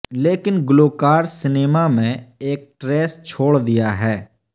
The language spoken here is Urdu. لیکن گلوکار سنیما میں ایک ٹریس چھوڑ دیا ہے